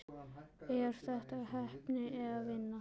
Er þetta heppni eða vinna?